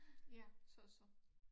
Ja sosu